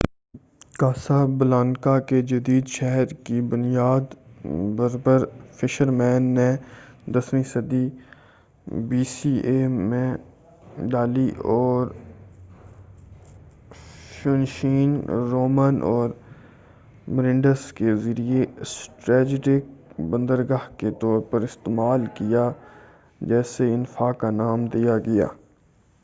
کاسا Blanca کے جدید شہر کی بنیاد بربر فشرمین نے 10ویں صدی بی سی ای میں ڈالی اور فوئنشین رومن اور مرینڈس کے ذریعہ اسٹریٹجک بندرگاہ کے طور پر استعمال کیا جسے انفا کا نام دیا گیا